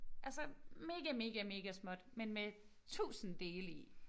Altså mega mega mega småt men med 1000 dele i